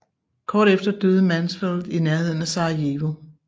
Kort efter døde Mansfeld i nærheden af Sarajevo